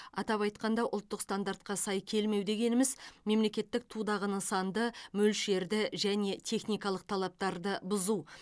атап айтқанда ұлттық стандартқа сай келмеу дегеніміз мемлекеттік тудағы нысанды мөлшерді және техникалық талаптарды бұзу